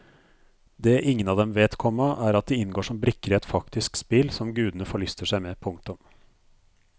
Det ingen av dem vet, komma er at de inngår som brikker i et faktisk spill som gudene forlyster seg med. punktum